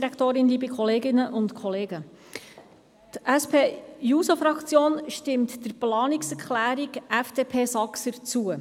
Die SP-JUSO-PSA-Fraktion stimmt der Planungserklärung FDP/Saxer zu.